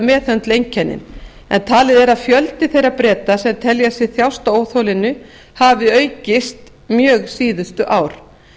meðhöndla einkennin en talið er að fjöldi þeirra breta sem telja sig þjást af óþolinu hafi aukist mjög síðustu ár